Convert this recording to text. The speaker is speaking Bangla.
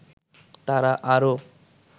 তারা আরও